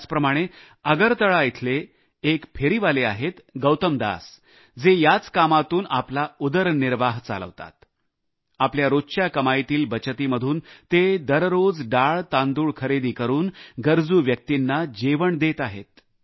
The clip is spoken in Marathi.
याचप्रमाणे आगरतळा येथे एक फेरीवाले आहेत गौतमदास जे याच कामातून आपला उदरनिर्वाह चालवतात आपल्या रोजच्या कमाईतील बचतीमधून ते दररोज डाळतांदूळ खरेदी करून गरजू व्यक्तींना जेवण देतात